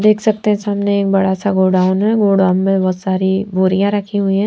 देख सकते हैं सामने एक बड़ा सा गोडाउन है गोडाउन में बहोत सारी बोरियां रखी हुई हैं।